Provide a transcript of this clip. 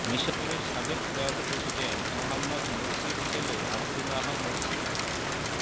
মিসরের সাবেক প্রয়াত প্রেসিডেন্ট মোহাম্মদ মুরসির ছেলে আবদুল্লাহ মুরসি মারা